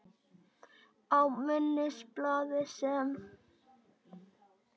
Á minnisblaði, sem